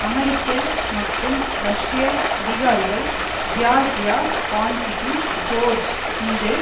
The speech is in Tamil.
அமெரிக்க மற்றும் ரஷ்ய அதிகாரிகள் ஜியார்ஜியா பான்க்கிசி ஜோர்ஜ் மீது